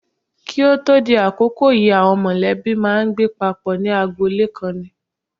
Kí o tó di àkókò yìí àwọn mọ̀lẹ́bí máa ń gbé papọ̀ ní agboolé kan ni.